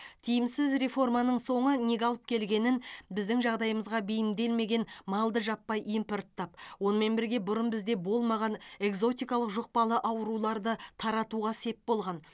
тиімсіз реформаның соңы неге алып келгенін біздің жағдайымызға бейімделмеген малды жаппай импорттап онымен бірге бұрын бізде болмаған экзотикалық жұқпалы ауруларды таратуға сеп болған